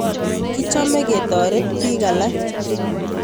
Kichome ketoret pik alak.